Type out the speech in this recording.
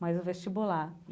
mais o vestibular.